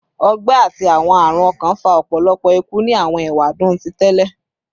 Ọgbẹ ati awọn arun ọkan fa ọpọlọpọ iku ni awọn ewadun ti tẹlẹ